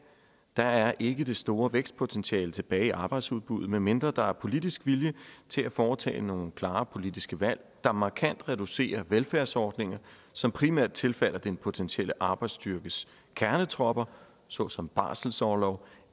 der er ikke det store vækstpotentiale tilbage i arbejdsudbuddet medmindre der er politisk vilje til at foretage nogle klare politiske valg der markant reducerer velfærdsordninger som primært tilfalder den potentielle arbejdsstyrkes kernetropper såsom barselsorlov